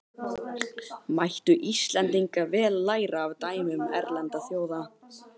Mættu Íslendingar vel læra af dæmum erlendra þjóða.